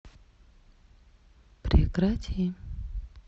прекрати